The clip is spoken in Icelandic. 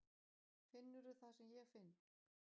Finnurðu það sem ég finn?